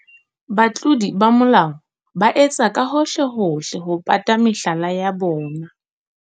Batlodi ba molao ba etsa ka bohohlehohle ho pata mehlala ya bona.